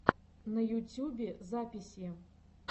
на ютюбе записи